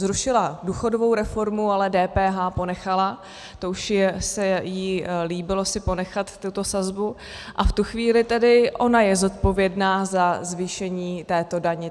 Zrušila důchodovou reformu, ale DPH ponechala, to už se jí líbilo si ponechat tuto sazbu, a v tu chvíli tedy ona je zodpovědná za zvýšení této daně.